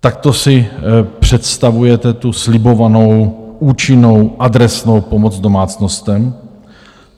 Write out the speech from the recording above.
Takto si představujete tu slibovanou účinnou adresnou pomoc domácnostem?